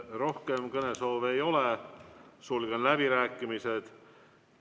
Rohkem kõnesoove ei ole, sulgen läbirääkimised.